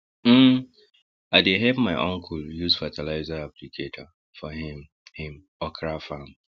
um i dey help my uncle use fertilizer applicator for him him okra farm